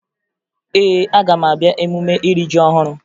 Ee, aga m abịa emume iri ji ọhụrụ